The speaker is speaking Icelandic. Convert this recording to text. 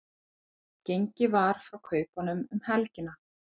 Gengið var frá kaupunum um helgina